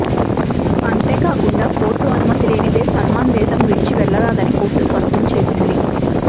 అంతేకాకుండా కోర్టు అనుమతి లేనిదే సల్మాన్ దేశం విడిచివెళ్లరాదని కోర్టు స్పష్టంచేసింది